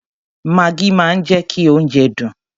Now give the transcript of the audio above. Maggi máa ń jẹ́ kí oúnjẹ dùn.